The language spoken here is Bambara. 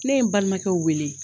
Ne ye n balimakɛw wele.